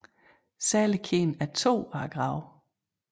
Særlig kendt er to af gravene